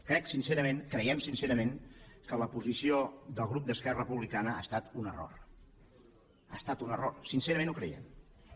crec sincerament creiem sincerament que la posició del grup d’esquerra republicana ha estat un error ha estat un error sincerament ho creiem